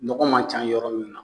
Ɲɔgɔ man ca yɔrɔ min na